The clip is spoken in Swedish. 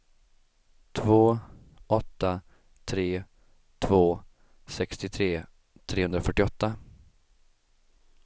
två åtta tre två sextiotre trehundrafyrtioåtta